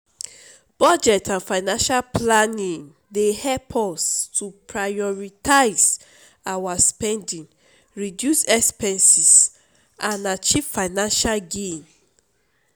budget and financial planning dey help us to prioritize our spending reduce expenses and achieve financial goals.